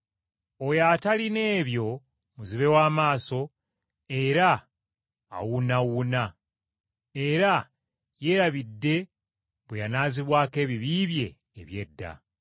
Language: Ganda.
Oyo atalina ebyo muzibe wa maaso era awunaawuna, era yeerabidde bwe yanaazibwako ebibi bye eby’edda.